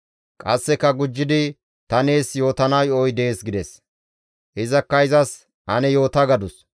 Qasseka gujjidi, «Ta nees yootana yo7oy dees» gides. Izakka izas, «Ane yoota» gadus.